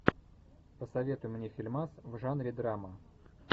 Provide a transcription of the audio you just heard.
посоветуй мне фильмас в жанре драма